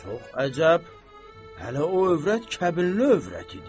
Çox əcəb, hələ o övrət kəbinli övrət idi.